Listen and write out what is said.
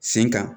Sen kan